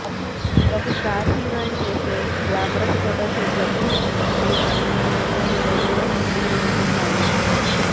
ఒక star heroine చేసే glamorous ఫోటోషూట్లకు ఏ మాత్రం తీసిపోని రేంజ్ లో ఇవి ఉంటున్నాయి